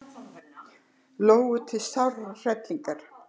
Lóu til sárrar hrellingar.